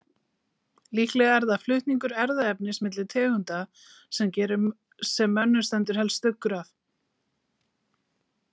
Líklega er það flutningur erfðaefnis milli tegunda sem mönnum stendur helst stuggur af.